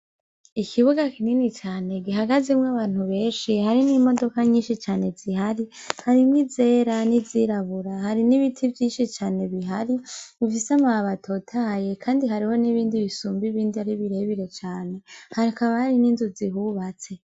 Ikibuga kini cane gihagazemwo abantu benshi harimwo imodoka nyinshi zihari, harimwo izera n'izirabura, hari n'ibiti vyinshi cane bihari bifise amababi atotahaye kandi hariho n'ibindi bisumba ibindi ari birerbire cane, hakaba hari n'inzu zihubatse.